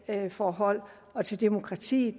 ved valgforhold og til demokratiet